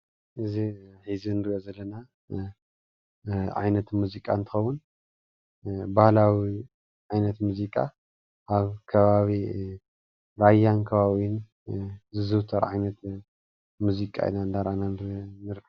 እዚ እዚ እንሪኦ ዘለና ዓይነት ሙዚቃ እንትኸውን ባህላዊ ዓይነት ሙዚቃ አብ ከባቢ ራያ ከባቢኡን ዝዝውተር ዓይነት ሙዚቃ ኢና እናረእና ንርከብ ፡፡